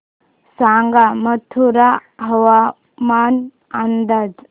सांगा मथुरा हवामान अंदाज